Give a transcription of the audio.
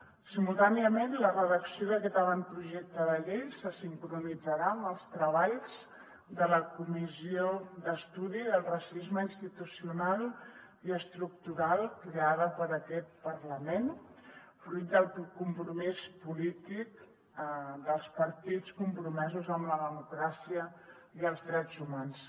simultàniament la redacció d’aquest avantprojecte de llei se sincronitzarà amb els treballs de la comissió d’estudi sobre el racisme institucional i estructural creada per aquest parlament fruit del compromís polític dels partits compromesos amb la democràcia i els drets humans